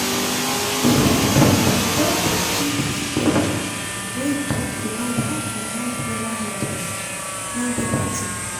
the health center don dey give free paper wey talk about how to manage menstrual health and hygiene—na better thing.